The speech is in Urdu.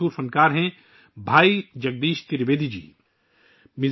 بھائی جگدیش ترویدی جی اس ڈائیرا کے مشہور فنکار ہیں